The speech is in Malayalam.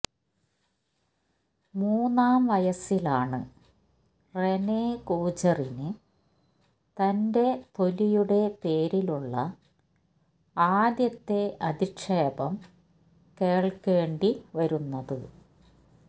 മൂന്നാം വയസിലാണ് റെനെ കൂജുറിന് തന്റെ തൊലിയുടെ പേരിലുള്ള ആദ്യത്തെ അധിക്ഷേപം കേള്ക്കേണ്ടി വരുന്നത്